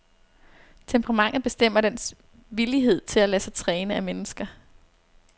Temperamentet bestemmer dens villighed til at lade sig træne af mennesker.